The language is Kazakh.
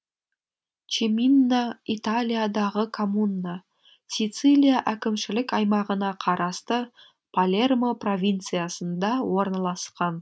чиминна италиядағы коммуна сицилия әкімшілік аймағына қарасты палермо провинциясында орналасқан